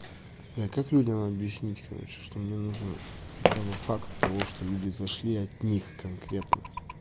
не как людям объяснить короче что мне нужно хотя бы факт того что люди зашли от них конкретно